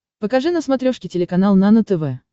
покажи на смотрешке телеканал нано тв